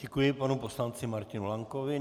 Děkuji panu poslanci Martinu Lankovi.